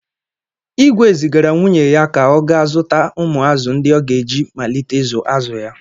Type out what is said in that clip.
Igwe zigara nwunye ya ka ọ gaa zụta ụmụ azụ̀ ndị ọ ga-eji malite ịzụ azụ̀ ya.